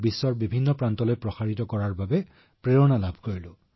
তেতিয়াৰে পৰা মই বৈদিক গণিতক পৃথিৱীৰ প্ৰতিটো কোণলৈ লৈ যোৱাটো এটা অভিযানত জড়িত হৈছো